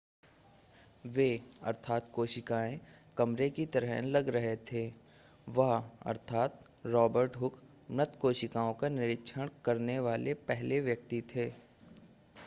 वे कोशिकाएँ कमरे की तरह लग रहे थे. वह रॉबर्ट हुक मृत कोशिकाओं का निरीक्षण करने वाले पहले व्यक्ति थे